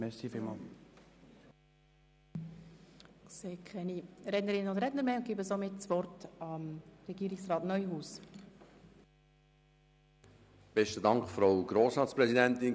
Ich sehe keine weiteren Rednerinnen und Redner und erteile somit Regierungsrat Neuhaus das Wort.